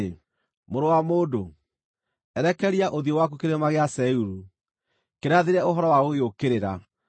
“Mũrũ wa mũndũ, erekeria ũthiũ waku Kĩrĩma gĩa Seiru: kĩrathĩre ũhoro wa gũgĩũkĩrĩra,